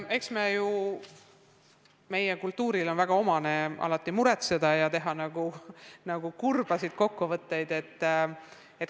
Eks meie kultuuris on väga omane alati muretseda ja teha eelkõige kurbi kokkuvõtteid.